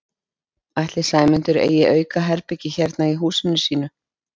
Ætli Sæmundur eigi aukaherbergi hérna í húsinu sínu?